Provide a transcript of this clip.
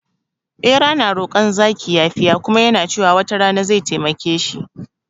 Bera na rokon zaki yafiya kuma yana cewa wata rana zai taimake shi